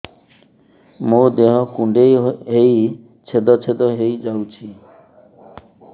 ମୋ ଦେହ କୁଣ୍ଡେଇ ହେଇ ଛେଦ ଛେଦ ହେଇ ଯାଉଛି